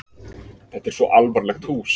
Þetta er svo alvarlegt hús.